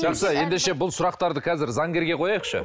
жақсы ендеше бұл сұрақтарды қазір заңгерге қояйықшы